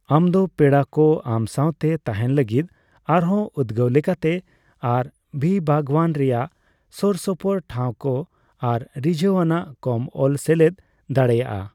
ᱟᱢᱫᱚ ᱯᱮᱲᱟ ᱠᱚ ᱟᱢ ᱥᱟᱣᱛᱮ ᱛᱟᱸᱦᱮᱱ ᱞᱟᱹᱜᱤᱫ ᱟᱨᱦᱚᱸ ᱩᱫᱜᱟᱹᱣ ᱞᱮᱠᱟᱛᱮ ᱟᱨᱹᱵᱷᱤ ᱵᱟᱜᱽᱣᱟᱱ ᱨᱮᱭᱟᱜ ᱥᱳᱨ ᱥᱳᱯᱩᱨ ᱴᱷᱟᱣ ᱠᱚ ᱟᱨ ᱨᱤᱡᱷᱟᱹᱣ ᱟᱱᱟᱜ ᱠᱚᱢ ᱚᱞ ᱥᱮᱞᱮᱫ ᱫᱟᱲᱮᱹᱭᱟᱜᱼᱟ ᱾